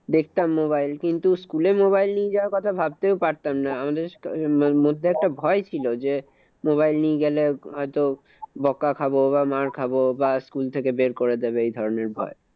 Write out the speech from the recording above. দেখতাম mobile । কিন্তু school এ mobile নিয়ে যাওয়ার কথা ভাবতেও পারতাম না। আমাদের মধ্যে একটা ভয় ছিল যে, mobile নিয়ে গেলে হয়ত বোকা খাবো বা মার খাবো বা school থেকে বের করে দেবে এই ধরণের ভয়।